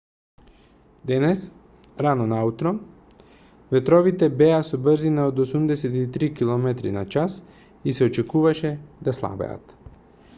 денес рано наутро ветровите беа со брзина од 83 km/h и се очекуваше да слабеат